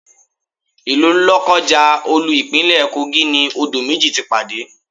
Ilu Lokaja, olú Ìpínlẹ̀ Kogi ni odò méjì ti pàdé.